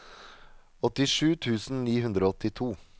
åttisju tusen ni hundre og åttito